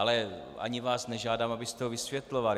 Ale ani vás nežádám, abyste to vysvětloval.